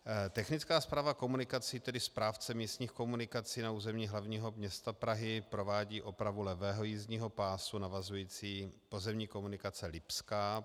Technická správa komunikací, tedy správce místních komunikací na území hlavního města Prahy, provádí opravu levého jízdního pásu navazující pozemní komunikace Lipská.